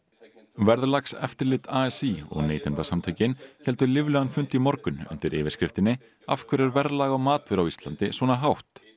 verðlagseftirlit a s í og Neytendasamtökin héldu líflegan fund í morgun undir yfirskriftinni af hverju er verðlag á matvöru á Íslandi svona hátt